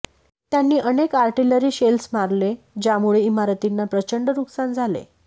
त्यांनी अनेक artillery shells मारले ज्यामुळे इमारतींना प्रचंड नुकसान झाले